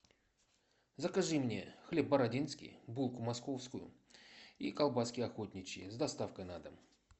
закажи мне хлеб бородинский булку московскую и колбаски охотничьи с доставкой на дом